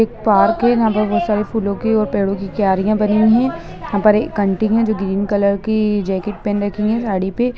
एक पार्क है यहा पर बहुत सारी फूलों के और पेड़ों की क्यारियां बनी है वहा पे एक आंटी है जो ग्रीन कलर की जैकेट पेहन रखी है साड़ी पे।